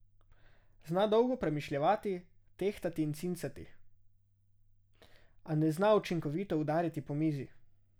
Zna dolgo premišljevati, tehtati in cincati, a ne zna učinkovito udariti po mizi.